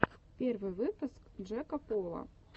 первый выпуск джейка пола